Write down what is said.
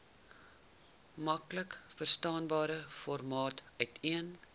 maklikverstaanbare formaat uiteen